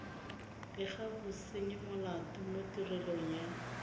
bega bosenyimolato mo tirelong ya